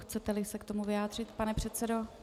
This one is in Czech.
Chcete se k tomu vyjádřit, pane předsedo?